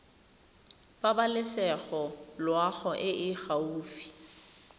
pabalesego loago e e gaufi